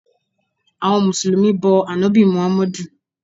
Àwọn mùsùlùmí bọ ànábì muhammadu